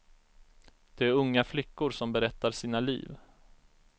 Det är unga flickor som berättar sina liv.